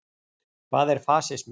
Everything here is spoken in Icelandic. Hvað er fasismi?